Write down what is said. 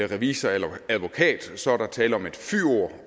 revisorer eller advokater så er der tale om et fyord